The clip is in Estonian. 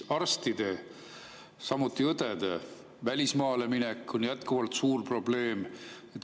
Arstide, samuti õdede välismaale minek on jätkuvalt suur probleem.